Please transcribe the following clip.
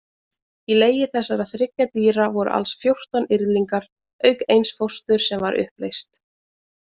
Í legi þessara þriggja dýra voru alls fjórtán yrðlingar, auk eins fósturs sem var uppleyst.